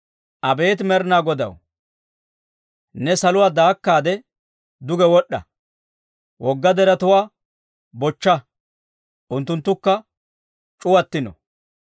Abeet Med'inaa Godaw, ne saluwaa daakaade duge wod'd'a! Wogga deretuwaa bochcha; unttunttukka c'uwattino!